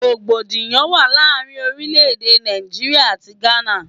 Rògbòdìyàn wà láàárín orílẹ̀-èdè Nàìjíríà àti Gana.